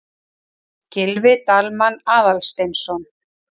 Gylfi Dalmann Aðalsteinsson.